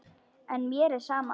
En mér er sama.